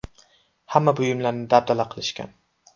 Hamma buyumlarni dabdala qilishgan.